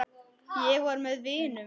Ég var með vinum.